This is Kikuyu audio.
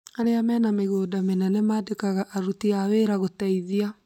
Arĩa mena mĩgũnda mĩnene mandĩkaga aruti a wĩra gũteitia